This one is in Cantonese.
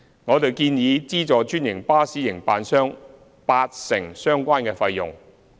我們建議資助專營巴士營辦商八成相關費用。